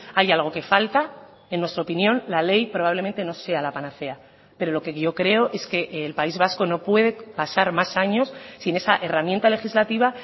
hay algo que falta en nuestra opinión la ley probablemente no sea la panacea pero lo que yo creo es que el país vasco no puede pasar más años sin esa herramienta legislativa